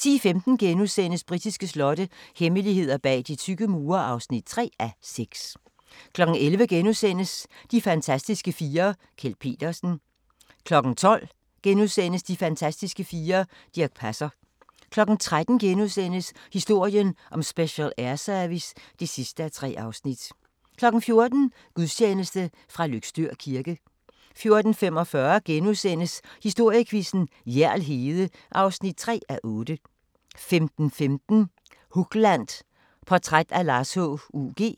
10:15: Britiske slotte – hemmeligheder bag de tykke mure (3:6)* 11:00: De fantastiske fire: Kjeld Petersen * 12:00: De fantastiske fire: Dirch Passer * 13:00: Historien om Special Air Service (3:3)* 14:00: Gudstjeneste fra Løgstør kirke 14:45: Historiequizzen: Hjerl Hede (3:8)* 15:15: Hugland – Portræt af Lars H.U.G.